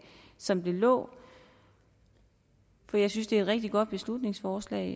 som det lå for jeg synes det er et rigtig godt beslutningsforslag